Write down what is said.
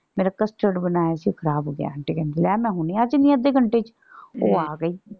ਮੇਰਾ custard ਬਣਾਇਆ ਸੀ ਉਹ ਖ਼ਰਾਬ ਹੋ ਗਿਆ। ਆਂਟੀ ਕਹਿੰਦੀ ਲੈ ਮੈਂ ਹੁਣੇ ਆ ਜਾਂਦੀ ਆ ਅੱਧੇ ਘੰਟੇ ਚ। ਉਹ ਆ ਗਈ।